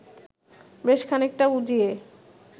বেশ খানিকটা উজিয়ে